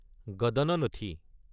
গাদানানাথি